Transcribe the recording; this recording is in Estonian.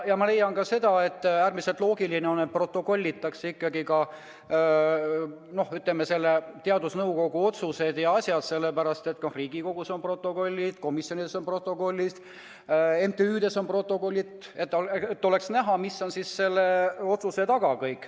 Ma leian samuti, et oleks äärmiselt loogiline, et teadusnõukoja otsused ja muud asjad ikkagi protokollitaks, sest ka Riigikogus on protokollid, komisjonides on protokollid ja MTÜ-des on protokollid, et oleks näha, mis on otsuse taga.